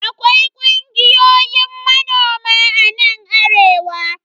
Akwai kungiyoyin manoma a nan arewa.